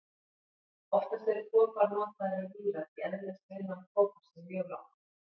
Oftast er kopar notaður í víra því eðlisviðnám kopars er mjög lágt.